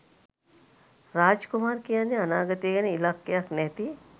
රාජ්කුමාර් කියන්නේ අනාගතය ගැන ඉලක්කයක් නැති